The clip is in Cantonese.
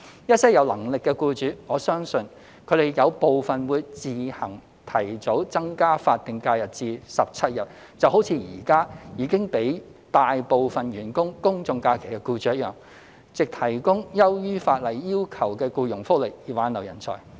一些有能力的僱主，我相信他們有部分會自行提早增加法定假日至17日，就好像現時已經給予大部分員工公眾假期的僱主一樣，藉提供優於法例要求的僱傭福利以挽留人才。